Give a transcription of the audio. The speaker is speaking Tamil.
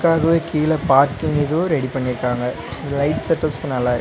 அதுவு கீழ பார்க்கிங் இதுவு ரெடி பண்ணிருக்காங்க சோ லைட் செட்டப்ஸ் நல்லாருக்.